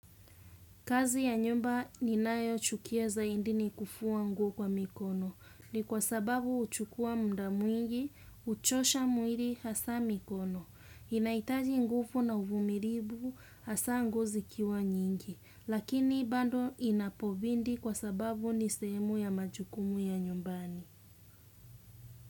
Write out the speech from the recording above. Kazi ya nyumba ninayo chukia zaindi ni kufuwa nguo kwa mikono. Ni kwa sababu uchukua mda mwingi, uchosha muiri hasa mikono. Inaitaji ngufu na uvumiribu hasa nguo zikiwa nyingi. Lakini bado inapobidi kwa sababu ni sehemu ya majukumu ya nyumbani.